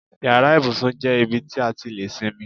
Yàrá ibùsùn jẹ́ ibi tí a ti lè sinmi.